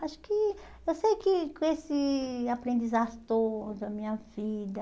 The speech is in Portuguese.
Acho que, eu sei que com esse aprendizado todo, a minha vida,